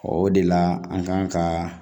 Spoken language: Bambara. o de la an kan kaa